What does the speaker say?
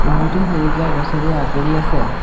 বহুতো সেউজীয়া গছেৰে আগুৰি আছে।